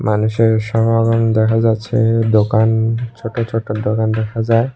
মানুষের সমাগম দেখা যাচ্ছে দোকান ছোট ছোট দোকান দেখা যায়।